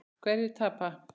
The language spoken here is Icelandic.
Hverjir tapa?